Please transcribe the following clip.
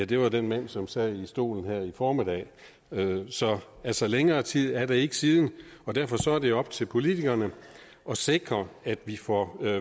det var den mand som sad i stolen her i formiddag så så længere tid er det ikke siden og derfor er det op til politikerne at sikre at vi får